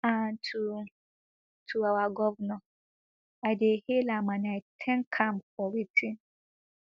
and to to our govnor i dey hail am and i thank am for wetin